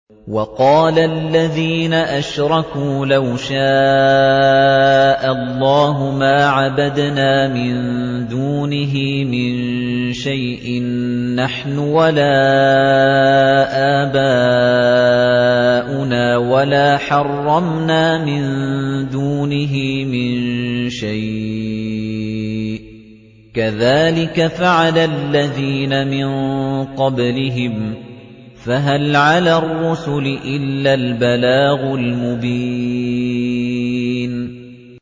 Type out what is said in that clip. وَقَالَ الَّذِينَ أَشْرَكُوا لَوْ شَاءَ اللَّهُ مَا عَبَدْنَا مِن دُونِهِ مِن شَيْءٍ نَّحْنُ وَلَا آبَاؤُنَا وَلَا حَرَّمْنَا مِن دُونِهِ مِن شَيْءٍ ۚ كَذَٰلِكَ فَعَلَ الَّذِينَ مِن قَبْلِهِمْ ۚ فَهَلْ عَلَى الرُّسُلِ إِلَّا الْبَلَاغُ الْمُبِينُ